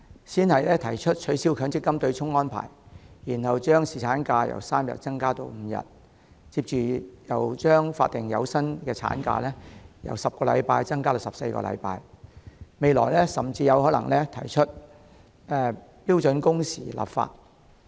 政府先是提出取消強制性公積金的對沖安排，然後把侍產假由3天增加至5天，接着又把法定有薪產假由10周增加至14周，未來甚至有可能提出就標準工時立法。